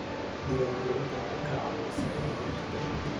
Diiwaangelintu waxay ka caawisaa ilaalinta deegaanka.